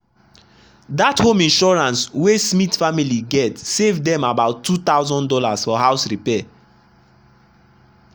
that home insurance wey smith family get save dem about two thousand dollars for house repair.